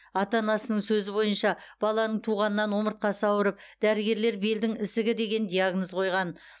ата анасының сөзі бойынша баланың туғаннан омыртқасы ауырып дәрігерлер белдің ісігі деген диагноз қойған